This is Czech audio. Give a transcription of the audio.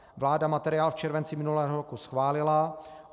Vláda materiál v červenci minulého roku schválila.